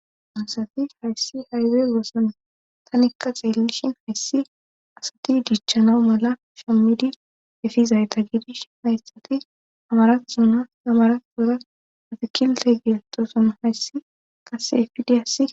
anasati hayssi haywey gooson tanikka xeellishin hayssi asati dichchanawu mala shammidi efizayta gidish hayssati amara zuna amara gora patikilte geeletoson hayssi kase efidi assi